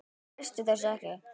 Þú treystir þessu ekki?